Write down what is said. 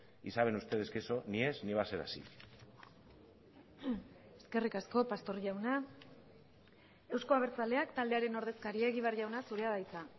y saben ustedes que eso ni es ni va a ser así eskerrik asko pastor jauna euzko abertzaleak taldearen ordezkaria egibar jauna zurea da hitza